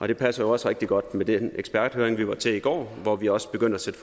det passer jo også rigtig godt med den eksperthøring vi var til i går at vi også begynder at sætte